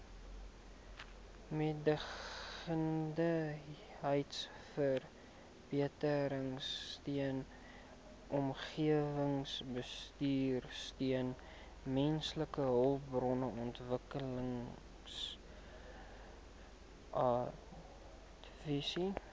mededingendheidsverbeteringsteun omgewingsbestuursteun mensehulpbronontwikkelingsadvies